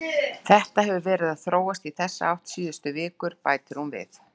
Þetta hefur verið að þróast í þessa átt síðustu vikur, bætir hún við.